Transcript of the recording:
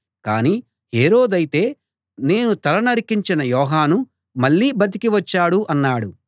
కాని హేరోదైతే నేను తల నరికించిన యోహాను మళ్ళీ బతికి వచ్చాడు అన్నాడు